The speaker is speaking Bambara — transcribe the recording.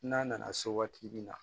N'a nana se waati min na